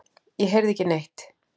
Ég heyrði ekki neitt.